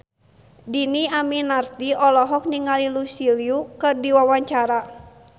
Dhini Aminarti olohok ningali Lucy Liu keur diwawancara